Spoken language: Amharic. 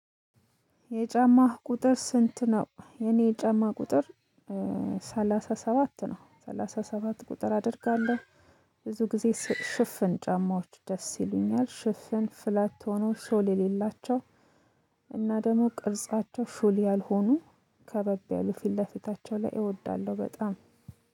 የጫማህ ቁጥር ስንት ነው? የኔ የጫማ ቁጥር ሰላሳ ሰባት ነው። ሰላሳ ሰባት ቁጥር አደርጋለሁ። ብዙ ጊዜ ሽፍን ጫማዎች ደስ ይሉኛል። ሽፍን ፍላት ሆነው ሶል የሌላቸው እና ደግሞ ቅርጻቸው ሹል ያልሆኑ ከበብ ያሉ ፊት ለፊታቸው ላይ እወዳለሁ በጣም።